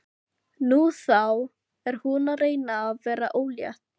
Nú, þá er hún að reyna að verða ólétt.